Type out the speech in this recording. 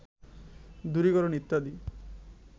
দূরীকরণ ইত্যাদি